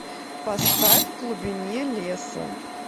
поставь в глубине леса